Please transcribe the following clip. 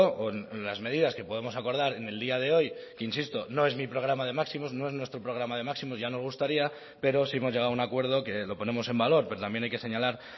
o en las medidas que podemos acordar en el día de hoy insisto no es mi programa de máximos no es nuestro programa de máximos ya nos gustaría pero sí hemos llegado a un acuerdo que lo ponemos en valor pero también hay que señalar